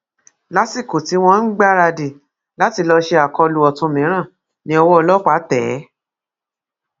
lásìkò tí wọn ń gbáradì láti lọọ ṣe akólú ọtún mìíràn ni ọwọ ọlọpàá tẹ ẹ